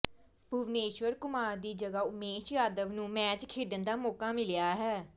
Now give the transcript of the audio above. ਭੁਵਨੇਸ਼ਵਰ ਕੁਮਾਰ ਦੀ ਜਗ੍ਹਾ ਉਮੇਸ਼ ਯਾਦਵ ਨੂੰ ਮੈਚ ਖੇਡਣ ਦਾ ਮੌਕਾ ਮਿਲਿਆ ਹੈ